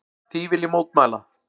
Því vil ég mótmæla!